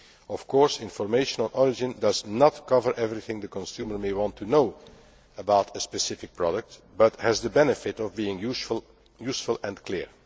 Of course, information on origin does not cover everything the consumer may want to know about a specific product, but has the benefit of being useful and clear.